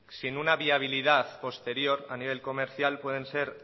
sin una viabilidad posterior a nivel comercial pueden ser